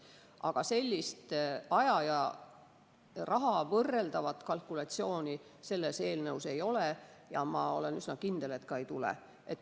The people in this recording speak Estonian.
Aga sellist aja ja raha võrreldavat kalkulatsiooni selles eelnõus ei ole ja ma olen üsna kindel, et ka ei tule.